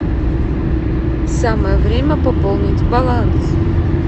самое время пополнить баланс